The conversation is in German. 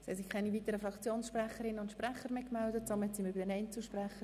Wir kommen zu den Einzelsprechern.